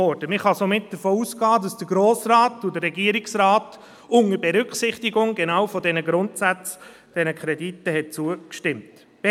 Man kann somit davon ausgehen, dass der Grosse Rat und der Regierungsrat diesen Krediten unter Berücksichtigung genau dieser Grundsätze zugestimmt haben.